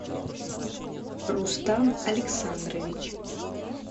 рустам александрович